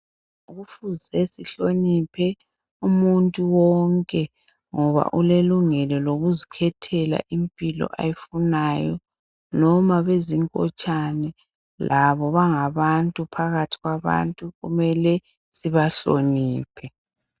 Kufuze sihloniphe umuntu wonke ngoba ulelungelo lokuzikhethela impilo ayifunayo noma beyizinkotshane labo bangabantu phakathi kwabantu kumele sibahloniphe